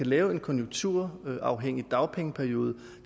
lave en konjunkturafhængig dagpengeperiode